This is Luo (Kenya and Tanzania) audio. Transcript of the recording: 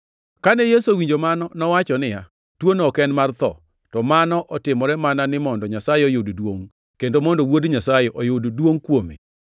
Kane Yesu owinjo mano, nowacho niya, “Tuono ok en mar tho, to mano otimore mana ni mondo Nyasaye oyud duongʼ, kendo mondo Wuod Nyasaye oyud duongʼ kuome.”